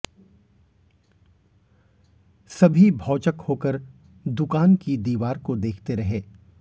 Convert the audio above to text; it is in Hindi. सभी भौचक होकर दुकान की दीवार को देखते रहे